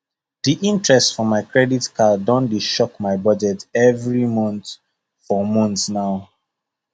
the interest for my credit card don dey choke my budget every month for months now